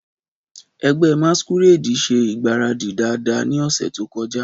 Ẹgbẹ́ masquerade ṣe ìgbáradì dáadáa ní ọ̀sẹ̀ tó kọjá.